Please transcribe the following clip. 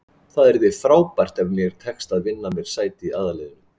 Það yrði frábært ef mér tekst að vinna mér sæti í aðalliðinu.